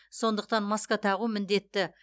сондықтан маска тағу міндетті